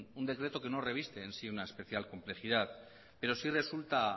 un decreto que no reviste en sí una especial complejidad pero sí resulta